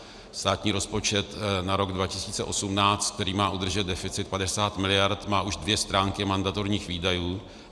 Státní rozpočet na rok 2018, který má udržet deficit 50 miliard, má už dvě stránky mandatorních výdajů.